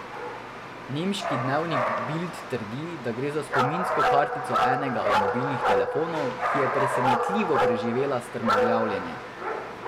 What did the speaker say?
Nemški dnevnik Bild trdi, da gre za spominsko kartico enega od mobilnih telefonov, ki je presenetljivo preživela strmoglavljenje.